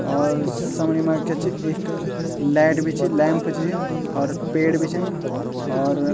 और समणी मा क्या च एक लैट बि च लैंप च और पेड़ बि छन और --